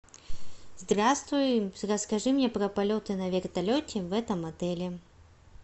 здравствуй расскажи мне про полеты на вертолете в этом отеле